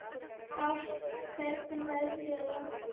Ást, hvernig er veðrið á morgun?